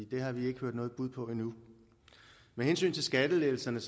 det har vi ikke hørt noget bud på endnu med hensyn til skattelettelserne